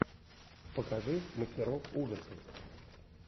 покажи мастеров ужасов